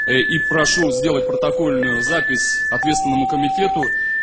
и прошу сделать протокольную запись ответственному комитету